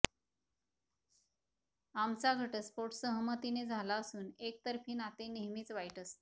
आमचा घटस्फोट सहमतीने झाला असून एकतर्फी नाते नेहमीच वाईट असते